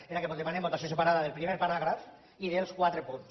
era que demanem votació separada del primer paràgraf i dels quatre punts